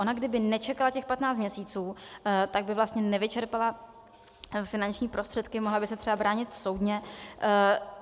Ona kdyby nečekala těch patnáct měsíců, tak by vlastně nevyčerpala finanční prostředky, mohla by se třeba bránit soudně.